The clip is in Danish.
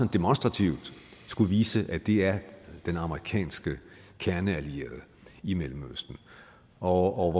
demonstrativt vise at det er den amerikanske kerneallierede i mellemøsten og